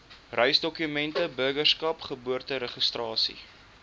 reisdokumente burgerskap geboorteregistrasie